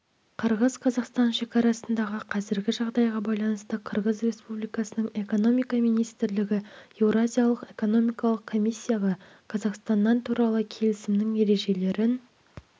қырғыз-қазақстан шекарасындағы қазіргі жағдайға байланысты қырғыз республикасының экономика министрлігі еуразиялық экономикалық комиссияға қазақстаннан туралы келісімнің ережелерін